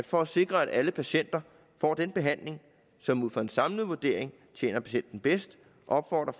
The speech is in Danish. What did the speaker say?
for at sikre at alle patienter får den behandling som ud fra en samlet vurdering tjener patienten bedst opfordrer